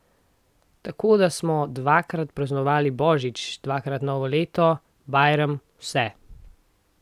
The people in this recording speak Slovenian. Tako da smo dvakrat praznovali božič, dvakrat novo leto, bajram, vse.